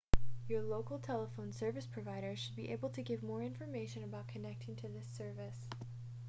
your local telephone service provider should be able to give more information about connecting to this service